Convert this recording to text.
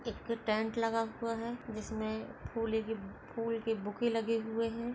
एक टंट लगा हुआ हे जिसमे पूले के फूल के बुके लगे हुए है।